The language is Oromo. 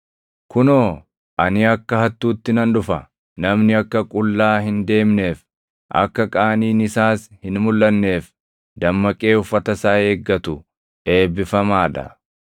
“Kunoo, ani akka hattuutti nan dhufa! Namni akka qullaa hin deemneef, akka qaaniin isaas hin mulʼanneef dammaqee uffata isaa eeggatu eebbifamaa dha.”